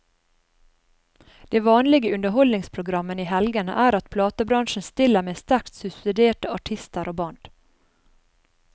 Det vanlige i underholdningsprogrammene i helgene er at platebransjen stiller med sterkt subsidierte artister og band.